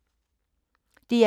DR1